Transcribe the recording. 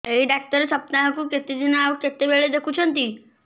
ଏଇ ଡ଼ାକ୍ତର ସପ୍ତାହକୁ କେତେଦିନ ଆଉ କେତେବେଳେ ଦେଖୁଛନ୍ତି